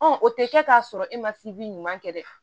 o tɛ kɛ k'a sɔrɔ e ma ɲuman kɛ dɛ